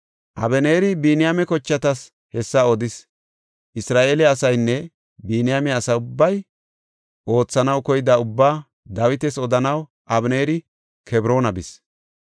Abeneeri Biniyaame kochatas hessa odis. Isra7eele asaynne Biniyaame asa ubbay oothanaw koyida ubbaa Dawitas odanaw Abeneeri Kebroona bis.